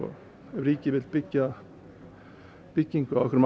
ríkið vill byggja byggja á einhverjum